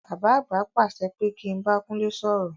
Bàbá àgbà pàṣẹ pé kí n bá Kúnlé sọ̀rọ̀.